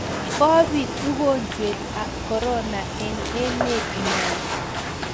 kobit ugojwet ab korona eng emet nenyon